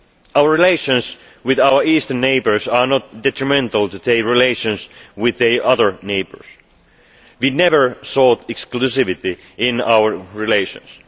Our relations with our eastern neighbours are not detrimental to relations with the other neighbours. We never sought exclusivity in our relations.